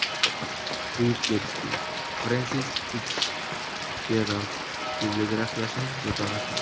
Buyuk Getsbi – Frensis Fitsjerald bibliografiyasining durdonasi.